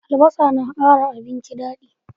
Albasa na kara abinci dadi